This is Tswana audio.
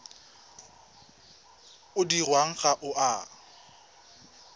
o dirwang ga o a